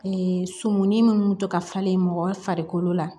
sumunin minnu to ka falen mɔgɔ farikolo la